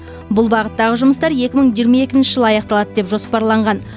бұл бағыттағы жұмыстар екі мың жиырма екінші жылы аяқталады деп жоспарланған